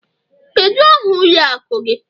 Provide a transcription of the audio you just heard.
Kedu aha ụlọ akụ gị?